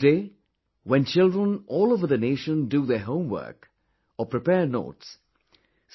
Today, when children all over the nation do their homework, or prepare notes,